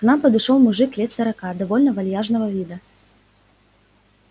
к нам подошёл мужик лет сорока довольно вальяжного вида